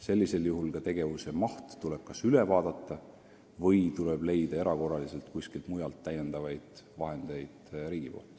Sellisel juhul tuleb tegevuse maht üle vaadata või riigil leida erakorraliselt kuskilt täiendavaid vahendeid.